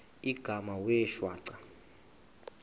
igama wee shwaca